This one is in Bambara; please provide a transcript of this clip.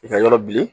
I ka yɔrɔ bili